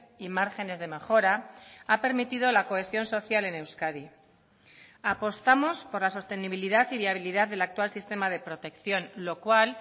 y márgenes de mejora ha permitido la cohesión social en euskadi apostamos por la sostenibilidad y viabilidad del actual sistema de protección lo cual